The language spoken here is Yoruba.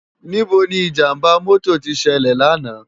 Nibó ni ijàmbá mòtó ti sèlè làná?